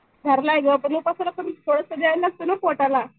धरलाय गं पण उपवासाला पण थोडंसं द्याय लागतं ना पोटाला.